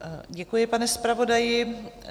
Děkuji, pane zpravodaji.